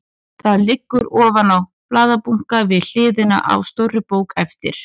Það liggur ofan á blaðabunka við hliðina á stórri bók eftir